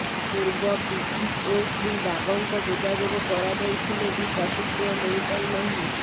ପୂର୍ବ ବିଇଓ ଶ୍ରୀ ବାଗଙ୍କ ଯୋଗାଯୋଗ କରାଯାଇଥିଲେ ବି ପ୍ରତିକ୍ରିୟା ମିଳି ପାରି ନାହିଁ